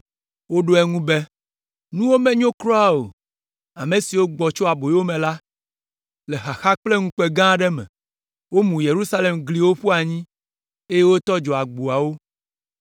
Woɖo eŋu be, “Nuwo menyo kura o, ame siwo gbɔ tso aboyome la, le xaxa kple ŋukpe gã aɖe me; womu Yerusalem ƒe gliwo ƒu anyi eye wotɔ dzo agboawo.”